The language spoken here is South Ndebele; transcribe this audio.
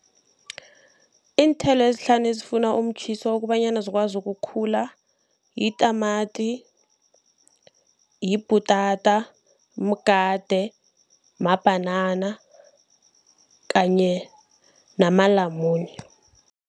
Iinthelo ezihlanu ezifuna umtjhiso kobanyana zikwazi ukukhula yitamati, libhutata, mgade, mabhanana kanye namalamune.